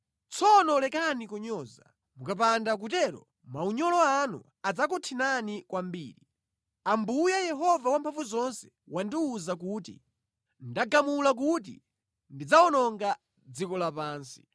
Tsopano lekani kunyoza, mukapanda kutero maunyolo anu adzakuthinani kwambiri; Ambuye, Yehova Wamphamvuzonse wandiwuza kuti, “Ndagamula kuti ndidzawononga dziko lapansi.”